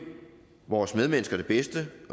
vores medmennesker det bedste